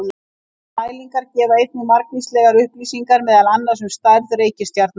Þessar mælingar gefa einnig margvíslegar upplýsingar meðal annars um stærð reikistjarna.